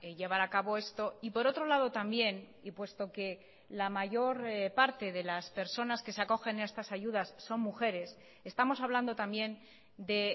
llevar a cabo esto y por otro lado también y puesto que la mayor parte de las personas que se acogen a estas ayudas son mujeres estamos hablando también de